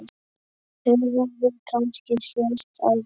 Höfum við kannski sést áður?